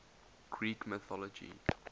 greek mythology